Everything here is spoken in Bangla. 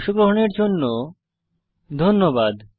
অংশগ্রহনের জন্য ধন্যবাদ